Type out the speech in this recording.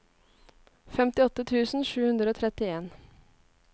femtiåtte tusen sju hundre og trettien